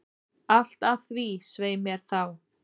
Allt að því, svei mér þá!